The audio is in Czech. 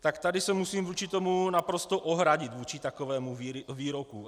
Tak tady se musím vůči tomu naprosto ohradit, vůči takovému výroku.